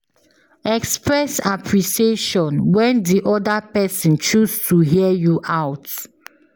Express appreciation when di oda person choose to hear you out